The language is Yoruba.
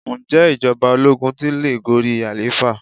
Ǹjẹ́ ìjọba ológun tun le gorí àlééfà?